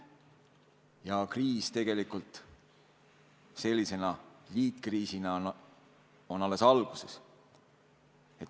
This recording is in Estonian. Ja kriis tegelikult sellise liitkriisina on alles alguses.